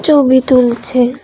Obi তুলছে।